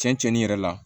Cɛn cɛn yɛrɛ la